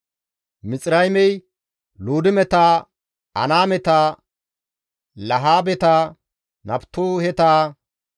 Mixiraymey Luudimeta, Anaameta, Lahaabeta, Naftuheta,